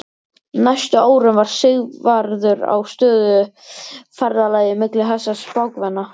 Næstu árin var Sigvarður á stöðugu ferðalagi milli þessara spákvenna.